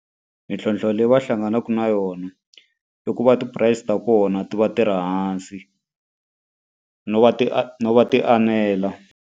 Mintlhlonthlo leyi va hlanganaka na yona, i ku va ti-price ta kona ti va ti ri hansi. No va ti no va ti enela.